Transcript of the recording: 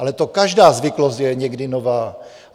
Ale to každá zvyklost je někdy nová.